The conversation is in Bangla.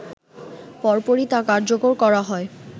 পরপরই তা কার্যকর করা হয়